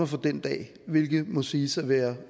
for den dag hvilket må siges at være